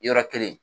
Yɔrɔ kelen